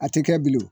A tɛ kɛ bilen o